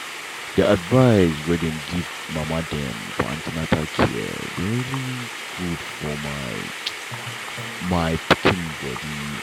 the advice wey dem give mama dem for an ten na care been really good for my my pikin body.